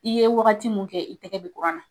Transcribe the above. I ye waagati mun kɛ i tɛgɛ bɛ kuran na.